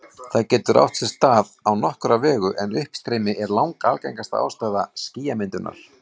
Það getur átt sér stað á nokkra vegu, en uppstreymi er langalgengasta ástæða skýjamyndunar.